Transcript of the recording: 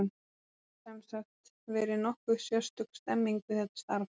Það hefur, sem sagt, verið nokkuð sérstök stemming við þetta starf.